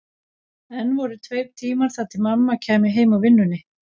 Enn voru tveir tímar þar til mamma kæmi heim úr vinnunni.